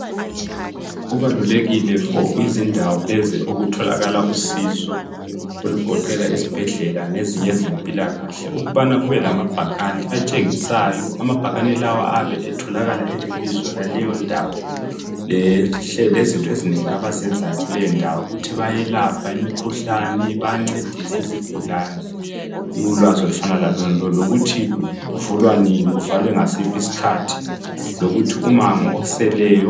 Kubalulekile for izindawo lezi oku tholakala usizo okugoqela izibhedlela lezinye ezempilakahle ukubana kube lamabhakane atshengisayo amabhakani lawa ayabe etholakala elebizo laleyo ndawo lezinto ezinengi abazenzayo kuleyo ndawo bayelapha imikhuhlane bayancedisa izigulane ulwazi olufana lalonalolu ukuthi kuvulwa nini kuvaliwe ngasiphi isikhathi lokuthi umango oseleyo